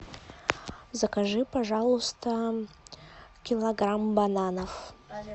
закажи пожалуйста килограмм бананов